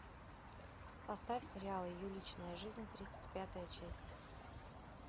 поставь сериал ее личная жизнь тридцать пятая часть